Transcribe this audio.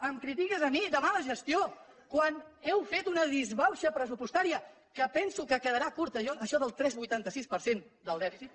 em critiques a mi de mala gestió quan heu fet una disbauxa pressupostària que penso que quedarà curta jo això del tres coma vuitanta sis per cent del dèficit